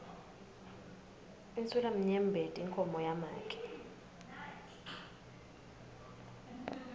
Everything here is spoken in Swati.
insulamnyembeti inkhomo yamake